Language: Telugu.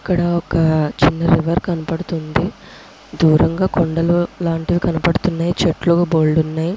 ఇక్కడ ఒక చిన్న రివర్ కనపడుతుంది. దూరంగా కొండలు అట్లాంటివి కనపడుతున్నాయి. చెట్లు బోలెడు ఉన్నాయి.